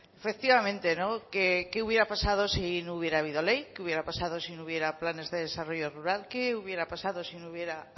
efectivamente qué hubiera pasado si no hubiera habido ley qué hubiera pasado hubiera planes de desarrollo rural qué hubiera pasado si no hubiera